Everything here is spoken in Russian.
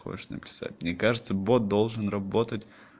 хочешь написать мне кажется бот должен работать